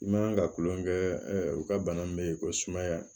I man ka tulonkɛ kɛ u ka bana min bɛ yen ko sumaya